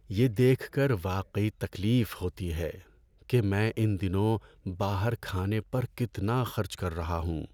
یہ دیکھ کر واقعی تکلیف ہوتی ہے کہ میں ان دنوں باہر کھانے پر کتنا خرچ کر رہا ہوں۔